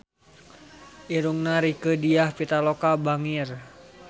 Irungna Rieke Diah Pitaloka bangir